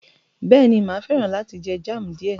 Bẹ́ẹ̀ni, mà á fẹ́ràn láti jẹ jam díẹ̀